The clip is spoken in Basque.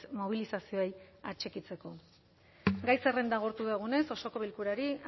mobilizazioei atxikitzeko gai zerrenda agortu dugunez osoko bilkurari